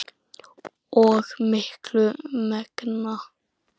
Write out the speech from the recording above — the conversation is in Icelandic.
og miklu megna.